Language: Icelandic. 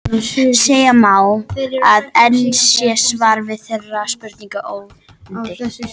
Segja má, að enn sé svar við þeirri spurningu ófundið.